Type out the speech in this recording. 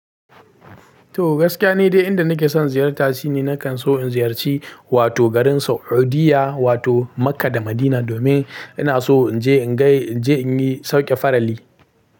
To gaskiya ne dai inda nake son ziyarta shine nakan so in ziyarci wato garin Saudiyya wato Makkah da Madina domin ina so in je in gai, in je in yi sauke farali.